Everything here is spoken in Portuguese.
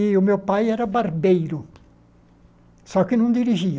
E o meu pai era barbeiro, só que não dirigia.